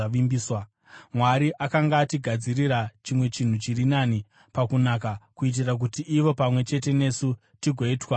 Mwari akanga atigadzirira chimwe chinhu chiri nani pakunaka, kuitira kuti ivo pamwe chete nesu tigoitwa vakakwana.